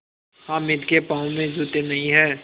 हामिद के पाँव में जूते नहीं हैं